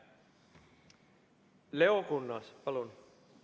Leo Kunnas, palun!